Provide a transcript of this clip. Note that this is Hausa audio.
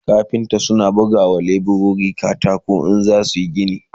kafinta suna buga wa leburori katako in suna gini